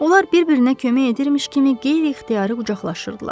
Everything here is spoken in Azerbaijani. Onlar bir-birinə kömək edirmiş kimi qeyri-ixtiyari qucaqlaşırdılar.